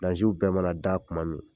w bɛɛ mana da tuma min